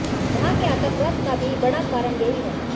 वहां के आतंकवाद का भी बड़ा कारण यही है